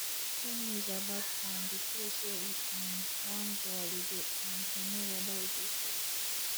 read news about um di place wey you um wan go holiday um to know weda e dey safe